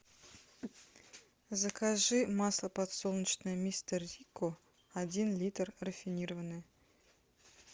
закажи масло подсолнечное мистер рикко один литр рафинированное